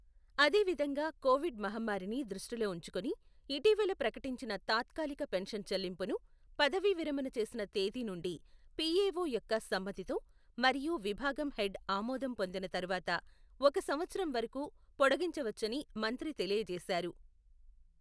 అదేవిధంగా కొవిడ్ మహమ్మారిని దృష్టిలో ఉంచుకుని ఇటీవల ప్రకటించిన తాత్కాలిక పెన్షన్ చెల్లింపును, పదవీ విరమణ చేసిన తేదీ నుండి పిఎఓ యొక్క సమ్మతితో మరియు విభాగం హెడ్ ఆమోదం పొందిన తరువాత, ఒక సంవత్సరం వరకు పొడిగించవచ్చని మంత్రి తెలియజేశారు.